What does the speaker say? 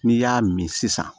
N'i y'a min sisan